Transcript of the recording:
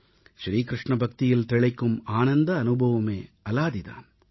ஸ்ரீ கிருஷ்ண பக்தியில் திளைக்கும் ஆனந்த அனுபவமே அலாதி தான்